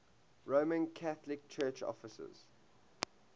roman catholic church offices